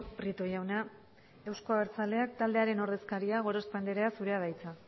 prieto jauna euzko abertzaleak taldearen ordezkaria gorospe andrea zurea da hitza